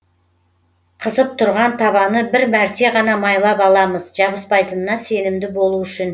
қызып тұрған табаны бір мәрте ғана майлап аламыз жабыспайтынына сенімді болу үшін